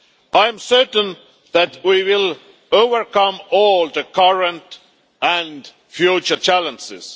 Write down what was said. I am certain that we will overcome all the current and future challenges.